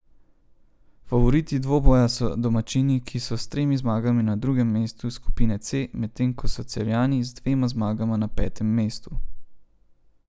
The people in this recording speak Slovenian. Favoriti dvoboja so domačini, ki so s tremi zmagami na drugem mestu skupine C, medtem ko so Celjani z dvema zmagama na petem mestu.